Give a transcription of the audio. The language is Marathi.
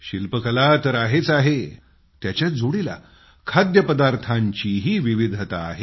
शिल्पकला तर आहेच आहे त्याच्याच जोडीला खाद्यपदार्थांचीही विविधता आहे